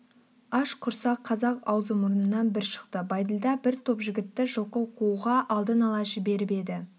аш құрсақ қазақ аузы-мұрнынан бір шықты бәйділда бір топ жігітті жылқы қууға алдын ала жіберіп еді